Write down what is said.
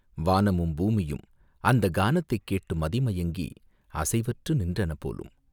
வானமும், பூமியும் அந்தக் கானத்தைக் கேட்டு மதிமயங்கி அசைவற்று நின்றன போலும்!